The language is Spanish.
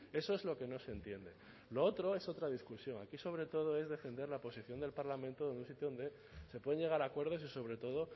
eso es lo que no se entiende lo otro es otra discusión aquí sobre todo es defender la posición del parlamento en un sitio donde se pueden llegar a acuerdos y sobre todo